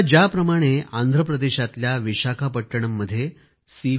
आता ज्याप्रमाणे आंध्र प्रदेशातल्या विशाखापट्टणममध्ये सी